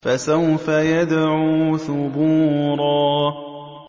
فَسَوْفَ يَدْعُو ثُبُورًا